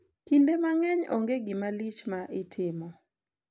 Kinde mang`eny onge gima lich ma itimo.